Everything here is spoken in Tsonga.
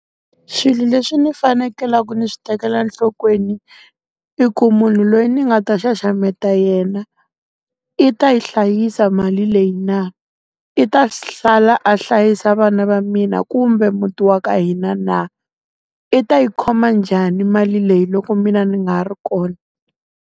Swilo leswi ni fanekelaku ndzi swi tekela nhlokweni, i ku munhu loyi ndzi nga ta xaxameta yena, i ta yi hlayisa mali leyi na? I ta sala a hlayisa vana va mina kumbe muti wa ka hina na? I ta yi khoma njhani mali leyi loko mina ndzi nga ha ri kona?